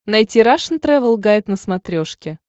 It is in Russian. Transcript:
найти рашн тревел гайд на смотрешке